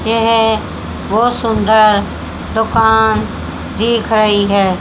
यह बहुत सुंदर दुकान दिख रही है।